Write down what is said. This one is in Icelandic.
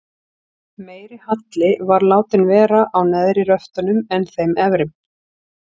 Meiri halli var látinn vera á neðri röftunum en þeim efri.